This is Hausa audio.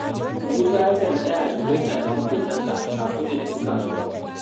Musa yakan tsaya su gaisa da maƙotansa kafin ya tafi kasuwa